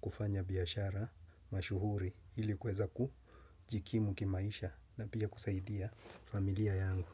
kufanya biashara mashuhuri ili kuweza kujikimu kimaisha na pia kusaidia familia yangu.